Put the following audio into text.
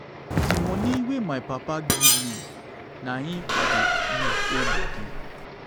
the money wey my papa give me na im i dey use hood body.